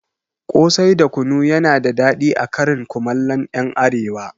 Ƙosai da kunu yana da daɗi a karin komallon ƴan arewa